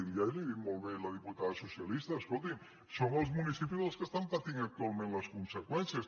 i ja li ho ha dit molt bé la diputada socialista escolti’m són els munici·pis els que estan patint actualment les conseqüències